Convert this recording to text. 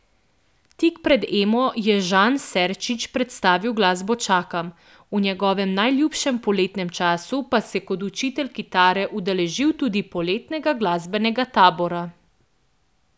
Tik pred Emo je Žan Serčič predstavil skladbo Čakam, v njegovem najljubšem poletnem času pa se je kot učitelj kitare udeležil tudi poletnega glasbenega tabora.